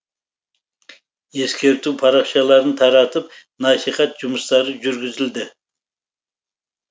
ескерту парақшаларын таратып насихат жұмыстары жүргізілді